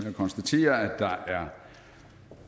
at konstatere at der er